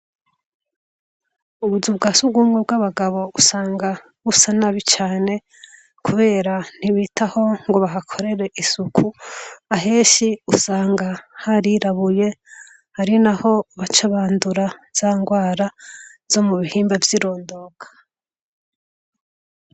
Ubuzu bwa sugumwe bw'abagabo usanga busa nabi cane kubera ntibitaho ngo bahakorere isuku, ahenshi usanga harirabuye ari naho baca bandura za ngwara zo mu bihimba vy'irondoka.